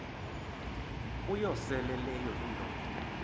uyosele leyo indoda